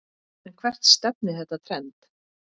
En hvert stefnir þetta trend?